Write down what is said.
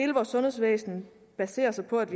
vores sundhedsvæsen baserer sig på at